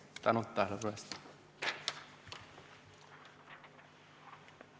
Tänu tähelepanu eest!